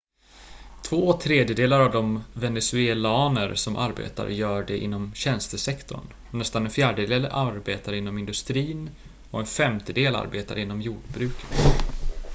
två tredjedelar av de venezuelaner som arbetar gör det inom tjänstesektorn nästan en fjärdedel arbetar inom industrin och en femtedel arbetar inom jordbruket